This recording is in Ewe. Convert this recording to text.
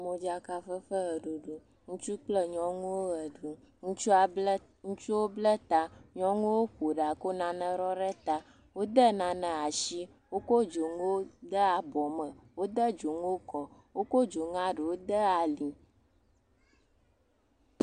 Modzakafefe ʋeɖuɖu, ŋutsu kple nyɔnuwo le ʋe ɖum. Ŋutsu bla, ŋutsuwo bla ta. Nyɔnuwo ƒo ɖa ko nane ɖɔ ɖe ta. Wode nane asi. Wokɔ dzonuwo de abɔme. Wode dzonuwo kɔ. Wokɔ dzonua ɖewo de ali.